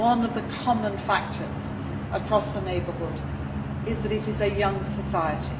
populations. One of the common factors across the Southern Neighbourhood is that it is a